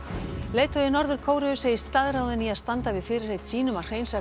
leiðtogi Norður Kóreu segist staðráðinn í að standa við fyrirheit sín um að hreinsa